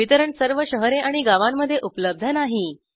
वितरण सर्व शहरे आणि गावांमध्ये उपलब्ध नाही